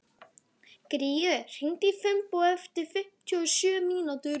Gurrí, hringdu í Finnbogu eftir fimmtíu og sjö mínútur.